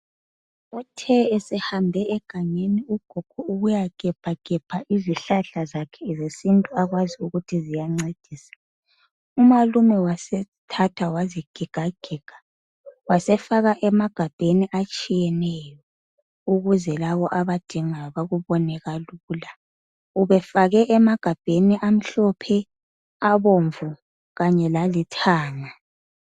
Uthe esehambe egangeni ugogo ukuyahebhagebha izihlahla zakhe zesintu akwazi ukuthi ziyancedisa umalume wasethatha wazigigagiga wazifaka emagabheni atshiyeneyo ukuze labo abadingayi bekubone. Ubefake emagabheni amhlophe, abomvu kanye lalithanga